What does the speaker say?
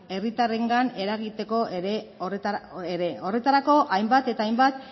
herritarrengan eragiteko ere horretarako hainbat eta hainbat